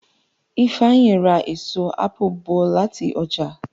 Ifeanyi rà èso apu bó láti oja.